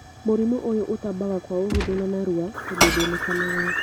Mũrimũ ũyũ ũtambaga kwa ũhũthũ na narua tondũ nduonekanaga